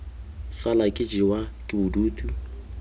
sala ke jewa ke bodutu